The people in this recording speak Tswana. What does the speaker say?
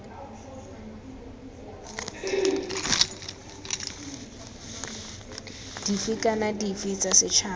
dife kana dife tsa setšhaba